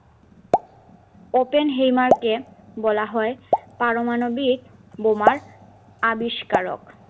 open হেইমার কে বলা হয় পারমাণবিক বোমার আবিষ্কারক